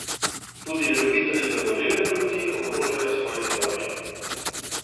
Tudi ljubitelji zagorele polti ogrožajo svoje zdravje.